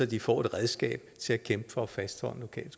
de får et redskab til at kæmpe for at fastholde en